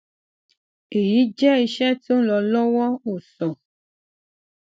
eyi jẹ iṣẹ ti o nlọ lọwọ o sọ